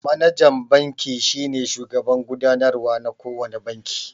Manajan banki shine shugaban gudanarwa na kowane banki